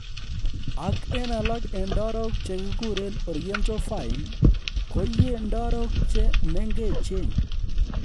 Ak en alak en ndarok che kiguren Oriental Vine, koiyie ndarok che mengechen